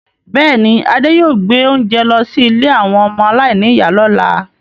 Bẹẹni, Adé yóò gbé oúnjẹ lọ sí ilé àwọn ọmọ aláìníìyá lọ́la.